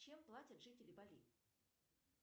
чем платят жители бали